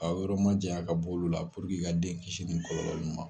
A yɔrɔ ma jayan ka bɔ olu la ka den kisi ni kɔlɔlɔ ma.